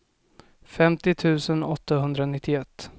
femtio tusen åttahundranittioett